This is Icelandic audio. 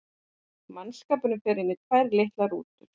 Mannskapurinn fer inn í tvær litlar rútur.